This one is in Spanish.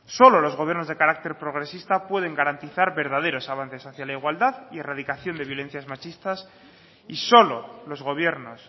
solo los gobiernos de carácter progresista pueden garantizar verdaderos avances hacia la igualdad y erradicación de violencias machistas y solo los gobiernos